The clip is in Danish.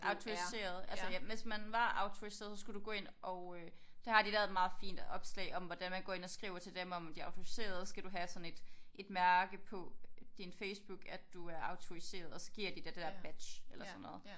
Autoriseret altså ja hvis man var autoriseret så skulle du gå ind og øh der har de lavet et meget fint opslag om hvordan man går ind og skriver til dem om at de er autoriserede skal du have sådan et et mærke på din Facebook at du er autoriseret og så giver de dig det dér badge eller sådan noget